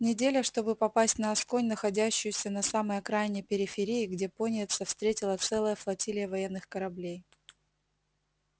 неделя чтобы попасть на асконь находящуюся на самой окраине периферии где пониетса встретила целая флотилия военных кораблей